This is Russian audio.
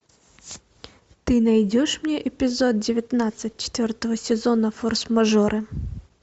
ты найдешь мне эпизод девятнадцать четвертого сезона форс мажоры